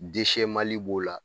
Dese mali b'o la